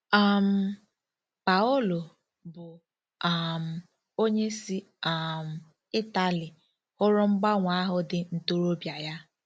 um Paolo, bụ́ um onye si um Ịtali, hụrụ mgbanwe ahụ dị ntorobịa ya.